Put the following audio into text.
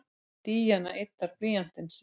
Díana yddar blýantinn sinn.